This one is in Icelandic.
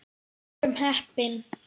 Við vorum heppni.